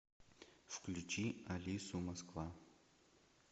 включи алису москва